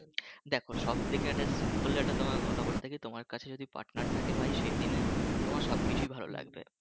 দেখো সব থেকে একটা simple একটা তোমাকে কথা বলি তোমার কাছে যদি partner থাকে ভাই সেদিনে তোমার সবকিছুই ভালো লাগবে